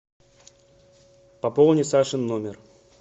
пополни сашин номер